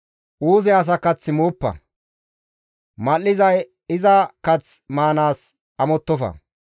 Uuze asa kath mooppa; mal7iza iza kath maanaas amottofa.